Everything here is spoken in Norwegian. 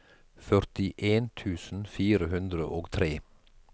førtien tusen fire hundre og tre